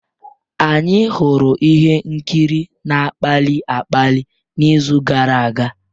Anyị hụrụ ihe nkiri na-akpali akpali n'izu gara aga.